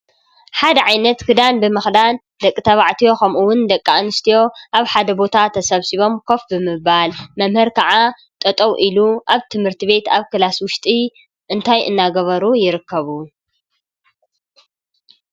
ሓደ ዓይነት ክዳን ብምክዳን ደቂ ተባዕትዮ ከምኡ እውን ደቂ ኣንስትዮ ኣብ ሓደ ቦታ ተሰብሲቦም ኮፍ ብምባል መምህር ከዓ ጠጠው ኢሉ ኣብ ትምህርቲ ቤት ኣብ ክላስ ውሽጢ እንታይ እንዳገበሩ ይርከቡ ?